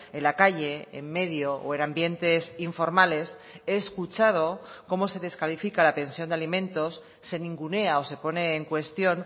en la calle en medio o en ambientes informales he escuchado cómo se descalifica a la pensión de alimentos se ningunea o se pone en cuestión